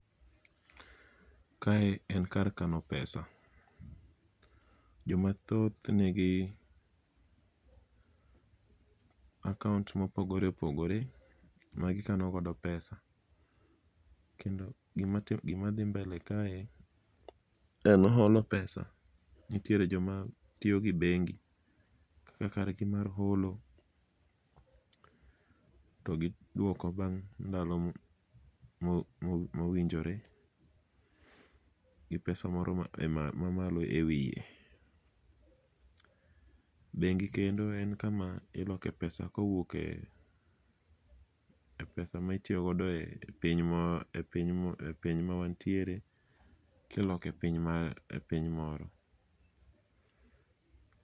Kae en kar kano pesa. Jomathoth nigi akaont mopogore opogore magikano godo pesa. Kendo gima dhi mbele kae en golo pesa. Nitiere joma tiyo gi bengi kaka kargi mar holo, to gidwoko bang' ndalo mowinjore gi pesa moro mamalo e wiye. Bengi kendo en kama iloke pesa kowuok e pesa ma itiyogodo e piny mawantiere kiloko e piny moro.